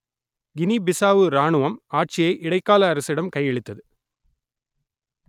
Guinea Bissau ராணுவம் ஆட்சியை இடைக்கால அரசிடம் கையளித்தது